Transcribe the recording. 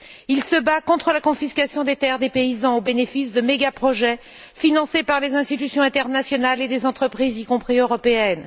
Il se bat contre la confiscation des terres des paysans au bénéfice de mégaprojets financés par les institutions internationales et des entreprises, y compris européennes.